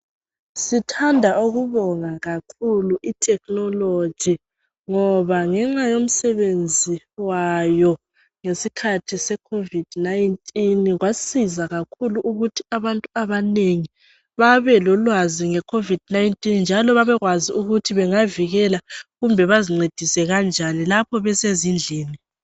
Sithanda ukubonga kakhulu i technology ngoba ngenxa yomsebenzi wayo ngeskhathi seCovid 19 kwasiza kakhulu ukuthi abantu abanengi babelolwazi ngeCovid 19 njalo babekwazi ukuthi bengavikela kumbe bazincedise kanjani lapho besezindlini.